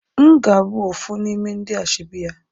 Mgabu ofu nime ndi ashebi ya